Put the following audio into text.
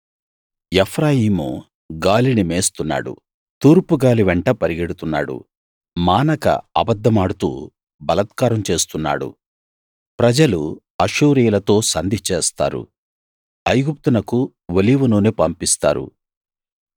ఎఫ్రాయిము గాలిని మేస్తున్నాడు తూర్పు గాలి వెంట పరిగెడుతున్నాడు మానక అబద్ధమాడుతూ బలాత్కారం చేస్తున్నాడు ప్రజలు అష్షూరీయులతో సంధి చేస్తారు ఐగుప్తునకు ఒలీవనూనె పంపిస్తారు